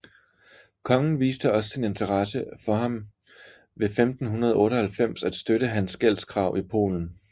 Kongen viste også sin interesse for ham ved 1598 at støtte hans gældskrav i Polen